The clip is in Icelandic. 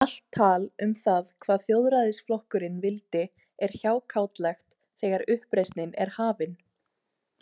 Allt tal um það hvað Þjóðræðisflokkurinn vildi er hjákátlegt þegar uppreisnin er hafin.